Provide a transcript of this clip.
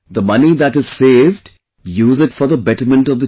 The money that is saved, use it for the betterment of the children